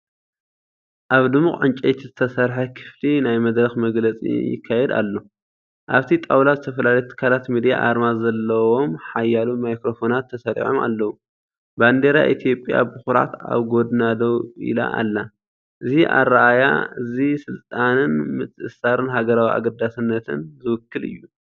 ኣብ ድሙቕ ዕንጨይቲ ዝተሰርሐ ክፍሊ ናይ መድረኽ መግለጺ ይካየድ ኣሎ። ኣብቲ ጣውላ ዝተፈላለዩ ትካላት ሚድያ ኣርማ ዘለዎም ሓያሎ ማይክሮፎናት ተሰሪዖም ኣለው። ባንዴራ ኢትዮጵያ ብኹርዓት ኣብ ጎድና ደው ኢላ ኣላ። እዚ ኣረኣእያ እዚ ስልጣንን ምትእስሳርን ሃገራዊ ኣገዳስነትን ዝውክል እዩ።